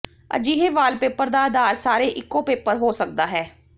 ਅਜਿਹੇ ਵਾਲਪੇਪਰ ਦਾ ਆਧਾਰ ਸਾਰੇ ਇੱਕੋ ਪੇਪਰ ਹੋ ਸਕਦਾ ਹੈ